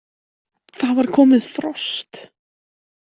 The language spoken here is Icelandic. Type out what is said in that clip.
Það var komið frost!